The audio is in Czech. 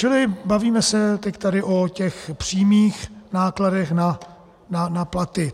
Čili bavíme se teď tady o těch přímých nákladech na platy.